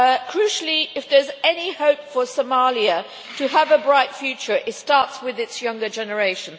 Crucially, if there is any hope for Somalia to have a bright future it starts with its younger generation.